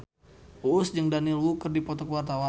Uus jeung Daniel Wu keur dipoto ku wartawan